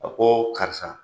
A ko karisa